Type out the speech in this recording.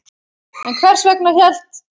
En hvers vegna hélt